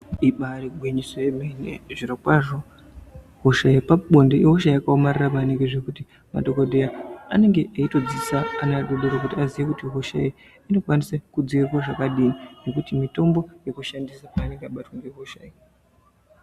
ibai gwinyiso yemene zvirokwazvo hosha yepabonde ihosha yakaomarara maningi zvekuti madhogodheya anenge eito dzidzisa ana adodori kuti aziye kuti hosha iyi inokwanise kudzivirirwa zvekadini. Nekuti mitombo yekushandisa anenge abatwa ngehosha iyi.